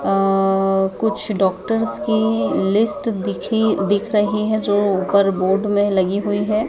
अह कुछ डॉक्टर्स की लिस्ट दिखी दिख रही है जो ऊपर बोर्ड में लगी हुई है।